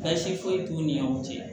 Baasi foyi t'u ni ɲɔgɔn cɛ